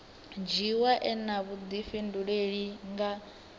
dzhiiwa e na vhudifhinduleli nga